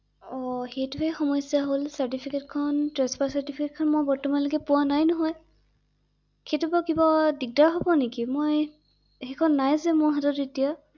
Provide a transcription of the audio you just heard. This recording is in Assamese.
অ সেইটোহে সমস্যা হ’ল চাৰ্টিফিকেট খন ট্ৰেন্সফাৰ চাৰ্টিফিকেট খন বৰ্তমানলৈকে মই পোৱা নাই নহয় ৷সেইটোৰ পৰা কিবা দিগদাৰ হ’ব নেকি ৷মই সেইখন নাই যে মোৰ হাতত এতিয়া ৷